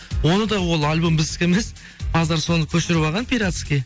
оны да ол альбом бізідік емес қазір соны көшіріп алған пиратский